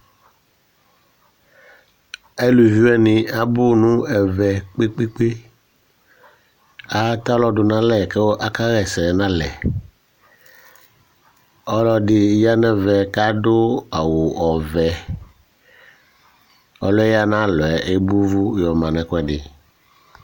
Alʋvi wani abʋ nʋ ɛvɛ kpe kpe kpe Atɛ alɔ du nʋ alɛ kʋ aka ɣɛsɛ nʋ alɛ Ɔlɔdi ya nʋ ɛvɛ kʋ adu awu ɔvɛ Ɔliyɛ ya nʋ ayʋ alɔ ebo ʋvu yɔma nʋ ɛkʋɛdi